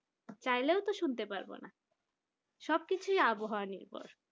চাইলেও তো শুনতে পারবো না সবকিছু আবহাওয়া নির্ভর